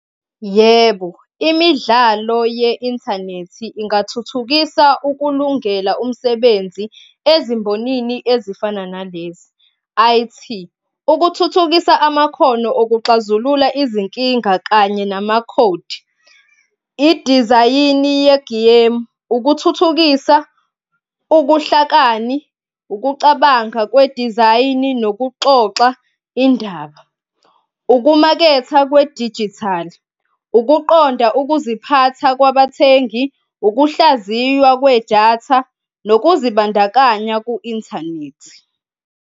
Yebo, imidlalo ye-inthanethi ingathuthukisa ukulungela umsebenzi ezimbonini ezifana nalezi, I_T, ukuthuthukisa amakhono okuxazulula izinkinga kanye namakhodi, idizayini yegemu. Ukuthuthukisa ubuhlakani, ukucabanga kwedizayini nokuxoxa indaba. Ukumaketha kwedijithali, ukuqonda ukuziphatha kwabathengi, ukuhlaziywa kwedatha nokuzibandakanya ku-inthanethi.